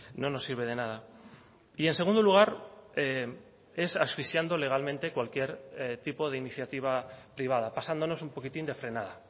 no nos sirve de nada y en segundo lugar es asfixiando legalmente cualquier tipo de iniciativa privada pasándonos un poquitín de frenada